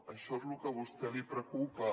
això el que a vostè li preocupa